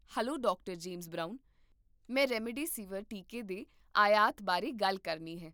hello, doctor Brown ਮੈਂ remdesivir ਟੀਕੇ ਦੇ ਆਯਾਤ ਬਾਰੇ ਗੱਲ ਕਰਨੀ ਹੈ